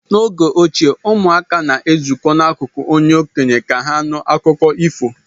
N'oge ochie, ụmụaka na-ezukọ n'akụkụ onye okenye ka ha nụ akụkọ ifo